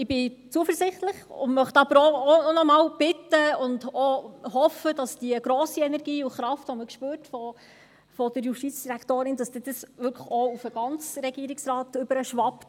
Ich bin zuversichtlich und möchte aber auch noch einmal bitten und hoffe, dass die grosse Energie und Kraft, die man von der Justizdirektorin spürt, dann auch auf den ganzen Regierungsrat überschwappt.